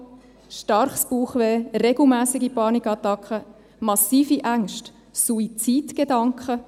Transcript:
Starke Bauchschmerzen, regelmässige Panikattacken, massive Ängste, Suizidgedanken.